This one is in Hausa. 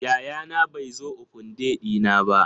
Yayana bai zo Open day dina ba.